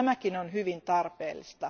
Tämäkin on hyvin tarpeellista.